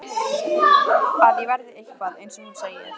Að ég verði eitthvað, eins og hún segir.